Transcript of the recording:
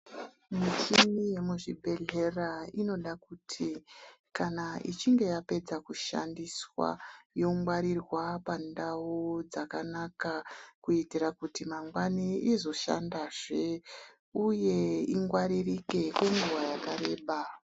Muchini yemuzvibhehlera inoda kuti kana ichinge yapedza kushandiswa yongwarirwa pandau dzakanaka kuitira kuti mangwani izoshandazve uye ingwaririke kwenguwa yakareba.